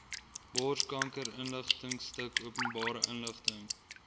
borskankerinligtingstuk openbare inligting